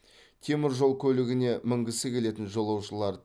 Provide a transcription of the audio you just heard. темір жол көлігіне мінгісі келетін жолаушылар